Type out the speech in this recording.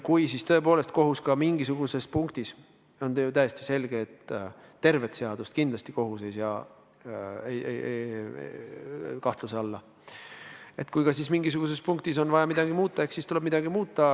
Kui tõepoolest kohus leiab, et mingisuguses punktis – on ju täiesti selge, et tervet seadust kindlasti kohus ei sea kahtluse alla – on vaja midagi muuta, eks siis tuleb midagi muuta.